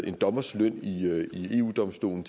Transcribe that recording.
en dommers løn i eu domstolen